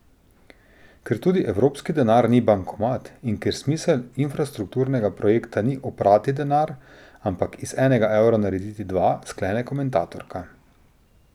Ker tudi evropski denar ni bankomat in ker smisel infrastrukturnega projekta ni oprati denar, ampak iz enega evra narediti dva, sklene komentatorka.